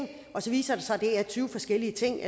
og så viser det sig at det er tyve forskellige ting